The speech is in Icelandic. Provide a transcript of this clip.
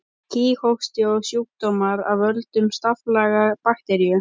Kíghósti er sjúkdómur af völdum staflaga bakteríu.